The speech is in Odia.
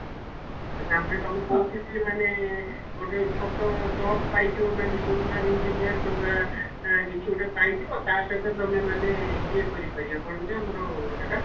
ତାପରେ ତମେ କଉଠି ବି ମାନେ ଗୋଟେ ଛୋଟ job ପାଇଯିବ ମାନେ junior engineer କିମ୍ବା ଅ କିଛି ଗୋଟେ ପାଇଯିବ ତା ସହିତ ତମେ ମାନେ ଇଏ କରିପାରିବ କଣ ଯେ ଆମର ସେଟା?